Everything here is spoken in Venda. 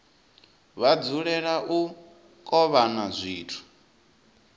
vha dzulela u kovhana zwithu